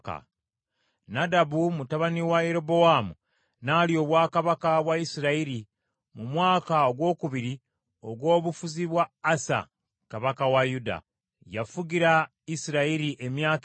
Nadabu mutabani wa Yerobowaamu n’alya obwakabaka bwa Isirayiri mu mwaka ogwokubiri ogw’obufuzi bwa Asa kabaka wa Yuda. Yafugira Isirayiri emyaka ebiri.